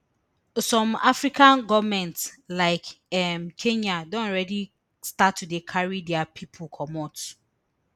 some african goments like um kenya don already start to dey carry dia pipo comot